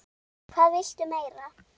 Hvað viltu meira?